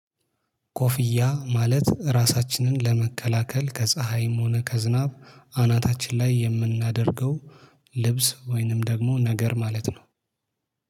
ኮፍያ ማለት ራሳችንን ለመከላከል ከፀሀይም ሆነ ከዝናብ አናታችን ላይ የምናደርገው ልብስ ወይንም ደግሞ ነገር ማለት ነው